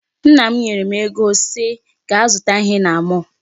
Nna m nyere m ego sị gaa zụta ihe na mall.